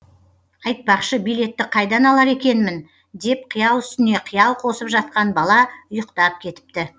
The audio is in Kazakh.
айтпақшы билетті қайдан алар екенмін деп қиял үстіне қиял қосып жатқан бала ұйықтап кетіпті